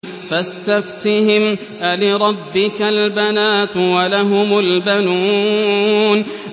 فَاسْتَفْتِهِمْ أَلِرَبِّكَ الْبَنَاتُ وَلَهُمُ الْبَنُونَ